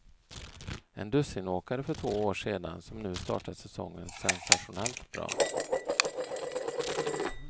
En dussinåkare för två år sedan som nu startat säsongen sensationellt bra.